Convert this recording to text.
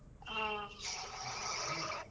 ಹ್ಮ .